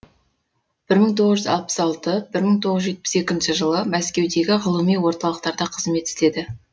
бір мың тоғыз жүз алпыс алты бір мың тоғыз жүз жетпіс екінші жылы мәскеудегі ғылыми орталықтарда қызмет істеді